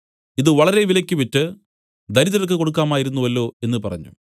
ഇതു വളരെ വിലയ്ക്ക് വിറ്റ് ദരിദ്രർക്ക് കൊടുക്കാമായിരുന്നുവല്ലോ എന്നു പറഞ്ഞു